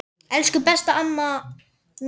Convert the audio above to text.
Elsku besta amma Maja.